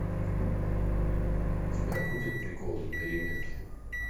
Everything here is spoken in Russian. у тебя будет приколы на переменке